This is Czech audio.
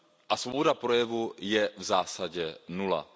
A svoboda projevu je v zásadě nula.